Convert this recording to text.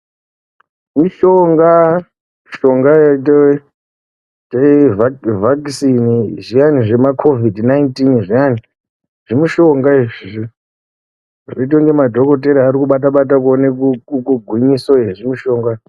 Mushonga mushango yedu iyi yevhakisini zviyani zvima kovhidi nainitini zviyani . Zvimushonga izvi zvinoite inge madhokotera arikubata bata kuona gwinyiso yezvimushonga.